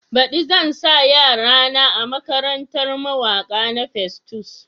Baɗi zan sa yara na a makarantar mawaki na Festus.